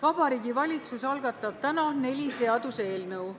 Vabariigi Valitsus algatab täna neli seaduseelnõu.